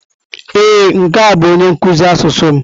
Ee, nke a bụ onye nkuzi asụsụ m?